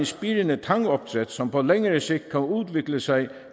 spirende tangopdræt som på længere sigt kan udvikle sig